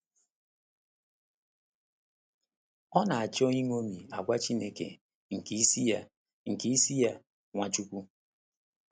Ọ na-achọ iṅomi àgwà Chineke nke isi ya, nke isi ya, Nwachukwu.